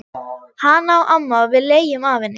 Hana á amma og við leigjum af henni.